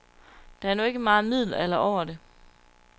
Der er nu ikke meget middelalder over det.